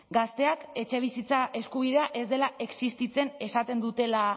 gazteak etxebizitza eskubidea ez dela existitzen